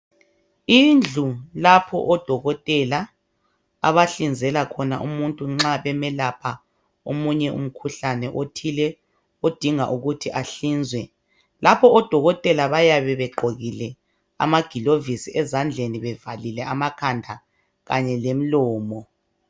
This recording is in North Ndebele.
Indlu lapho odokotela abahlinzela khona umuntu nxa bemelapha omunye umkhuhlane othile odinga ukuthi ahlinzwe lapho odokotela bayabe begqokile amagilovisi ezandleni bevalile amakhanda kanye lemlomo.